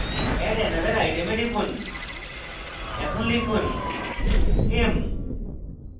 add another item we টিপুন এখন লিখব m